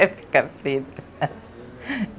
É ficar preta.